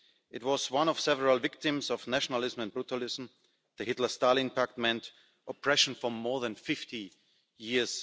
It was one of several victims of nationalism and brutalism. The Hitler-Stalin Pact meant oppression for more than 50 years.